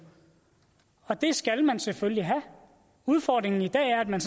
og det skal man selvfølgelig have udfordringen i dag er at man